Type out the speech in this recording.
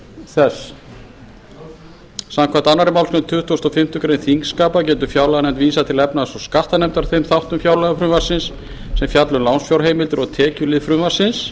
þess samkvæmt annarri málsgrein tuttugustu og fimmtu greinar þingskapa getur fjárlaganefnd vísað til efnahags og skattanefndar þeim þáttum fjárlagafrumvarpsins sem fjalla um lánsfjárheimildir og tekjuhlið frumvarpsins